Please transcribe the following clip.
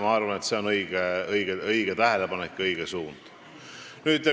Ma arvan, et see on õige tähelepanek ja õige suund.